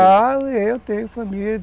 Ficaram e eu tenho família.